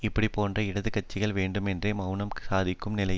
இப்படி போன்ற இடது கட்சிகள் வேண்டுமேன்றே மெளனம் சாதிக்கும் நிலைமை